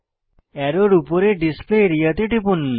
অ্যারোর উপরে display area তে টিপুন